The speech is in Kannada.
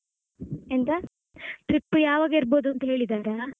trip ಯಾವಾಗ ಇರ್ಬೋದು ಅಂತ ಹೇಳಿದ್ದಾರಾ?